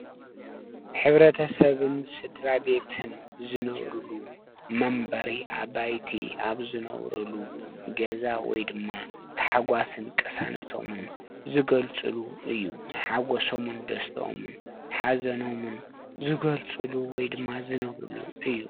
ሕብረተሰብን ስድራ ቤትን ዝነብርሉ መንበሪ ኣባይቲ ኣብ ዝነብርሉ ገዛ ወይ ድማ ተሓጓስን ቅሳነቶምን ዝገልፅሉ እዩ:: ሓጎሶምን ደስትኦምን ሓዘኖምን ዝገልፅሉ ወይ ድማ ዝነብርሉ እዩ ።